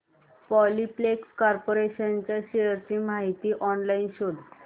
Polyplex corporation च्या shares ची माहिती ऑनलाइन शोध